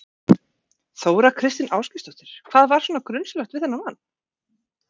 Þóra Kristín Ásgeirsdóttir: Hvað var svona grunsamlegt við þennan mann?